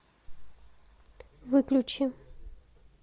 выключи